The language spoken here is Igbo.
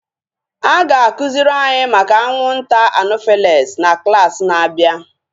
A ga akụziri anyị maka anwụnta anofels na klaasị na-abịa